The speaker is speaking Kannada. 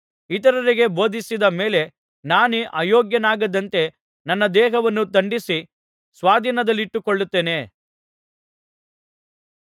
ಇತರರಿಗೆ ಬೋಧಿಸಿದ ಮೇಲೆ ನಾನೇ ಅಯೋಗ್ಯನಾಗದಂತೆ ನನ್ನ ದೇಹವನ್ನು ದಂಡಿಸಿ ಸ್ವಾಧಿನದಲ್ಲಿಟ್ಟುಕೊಳ್ಳುತ್ತೇನೆ